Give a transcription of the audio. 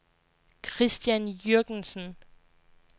Christian Jürgensen